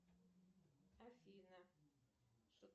афина